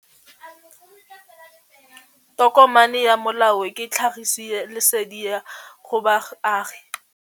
Tokomane ya molao ke tlhagisi lesedi go baagi.